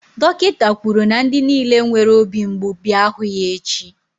dọkịta kwuru na ndị niile nwere obi mgbu bịa hụ ya echi.